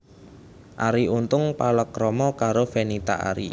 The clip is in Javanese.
Arie Untung palakrama karo Fenita Arie